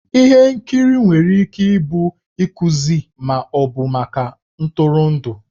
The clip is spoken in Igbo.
Ihe nkiri nwere ike ịbụ ihe nkuzi ma ọ bụ maka ntụrụndụ.